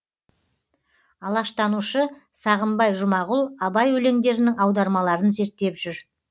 алаштанушы сағымбай жұмағұл абай өлеңдерінің аудармаларын зерттеп жүр